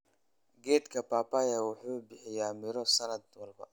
Geedka papaya wuxuu bixiya miro sanad walba.